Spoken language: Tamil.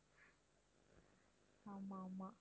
ஆமாம் ஆமாம்